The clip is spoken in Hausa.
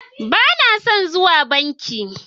Ba na son zuwa bankin